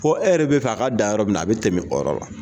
Fɔ e yɛrɛ bɛ fɛ a ka dan yɔrɔ min na, a bɛ tɛmɛ o yɔrɔ la.